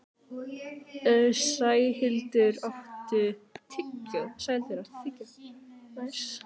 Sæhildur, áttu tyggjó?